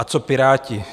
A co Piráti?